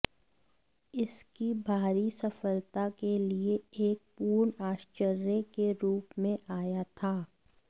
इस की भारी सफलता के लिए एक पूर्ण आश्चर्य के रूप में आया था